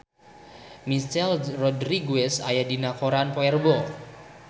Michelle Rodriguez aya dina koran poe Rebo